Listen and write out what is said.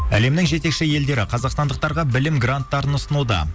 әлемнің жетекші елдері қазақстандықтарға білім гранттарын ұсынуда